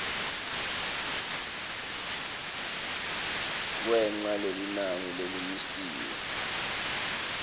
kwengca lelinani lelimisiwe